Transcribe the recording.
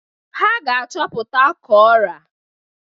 Ha ga-achọpụta ka ọra.